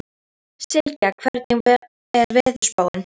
Sylgja, hvernig er veðurspáin?